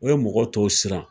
O ye mɔgɔ tɔw siran